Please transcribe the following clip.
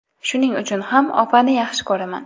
Shuning uchun ham opani yaxshi ko‘raman.